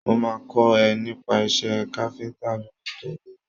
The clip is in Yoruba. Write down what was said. Mo máa kọ́ ẹ nípa iṣé káfíntà lóṣù tó ń bọ̀.